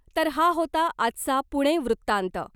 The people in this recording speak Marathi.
तर हा होता आजचा पुणे वृत्तांत .